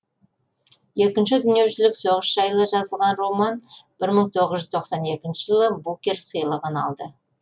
екінші дүниежүзілік соғыс жайлы жазылған роман бір мың тоғыз жүз тоқсани екінші жылы букер сыйлығын алған